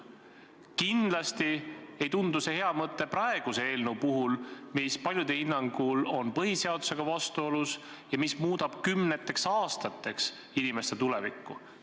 Kindlasti ei tundu see hea mõte praeguse eelnõu puhul, mis paljude hinnangul on põhiseadusega vastuolus ja muudab kümneteks aastateks inimeste tulevikku.